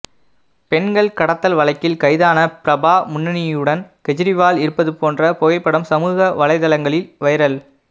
பெண்கள் கடத்தல் வழக்கில் கைதான பிரபா முன்னியுடன் கெஜ்ரிவால் இருப்பது போன்ற புகைப்படம் சமூக வலைதளங்களில் வைரல்